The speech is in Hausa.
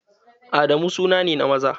Adamu suna ne na maza.